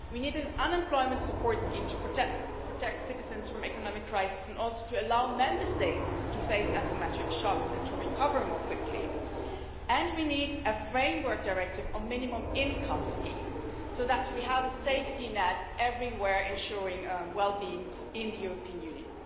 We need an unemployment support scheme to protect citizens from economic crises and to allow Member States to cope with asymmetric shocks and to recover more quickly, and we need a framework directive on minimum income schemes so that we have a safety net everywhere, ensuring well-being in the European Union.